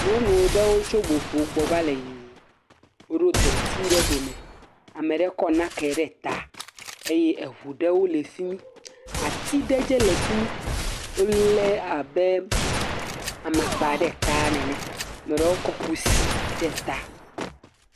Nyɔnu ɖewo tso boƒo gbɔ va le yiyim, woɖo deti ɖe ɖome, ame ɖe kɔ nake ɖe ta, eye eŋu ɖewo le fi mi, ati ɖe dze le fi mi, wolé abe amakpa ɖe ta nene, ame ɖewo kɔ kusi ɖe ta.